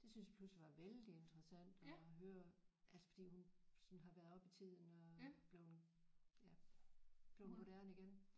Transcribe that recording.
Det synes jeg pludselig var vældig interessant at høre altså fordi hun sådan har været oppe i tiden og blevet ja blevet moderne igen